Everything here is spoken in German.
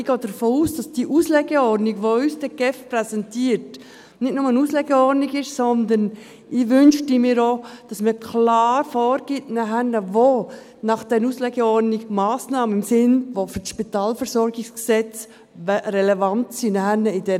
Ich gehe davon aus, dass die Auslegeordnung, die uns die GEF dann präsentiert, nicht nur eine Auslegeordnung ist, sondern ich wünschte mir auch, dass man klar vorgibt, wo nachher gemäss der Auslegeordnung Massnahmen im Sinn des SpVG relevant sind.